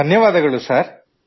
ಧನ್ಯವಾದಗಳು ಸರ್